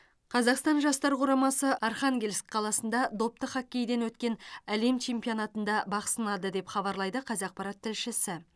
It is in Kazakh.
қазақстан жастар құрамасы архангельск қаласында допты хоккейден өткен әлем чемпионатында бақ сынады деп хабарлайды қазақпарат тілшісі